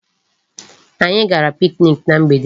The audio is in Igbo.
Anyị gara picnic na mgbede.